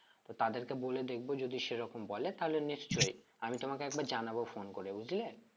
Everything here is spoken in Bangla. তো তাদেরকে বলে দেখব যদি সেরকম বলে তালে নিশ্চয় আমি তোমাকে একবার জানাবো phone করে বুঝলে?